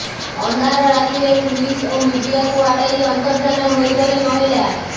ଅନ୍ଧାର ରାତିରେ ପୁଲିସ୍ ଓ ମିଡିଆକୁ ଆଡେଇ ଅନ୍ତର୍ଦ୍ଧାନ ହୋଇଗଲେ ମହିଳା